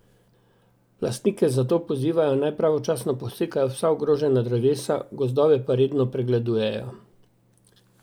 Lastnike zato pozivajo, naj pravočasno posekajo vsa ogrožena drevesa, gozdove pa redno pregledujejo.